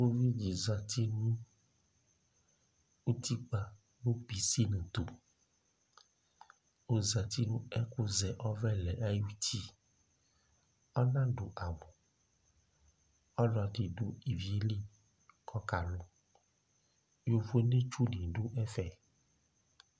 Ʋvidí zɛti nʋ ʋtikpa nʋ pisini tu Ɔzɛti nʋ ɛkʋ zɛ ɔvɛlɛ ayʋ ʋti Ɔnadʋ awu Ɔlɔdi du ívì ye li kʋ ɔka lu Yovone tsu ni du ɛfɛ